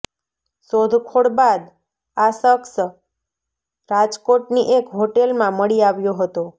શોધખોળ બાદ આ શખ્સ રાજકોટની એક હોટેલમાં મળી આવ્યો હતો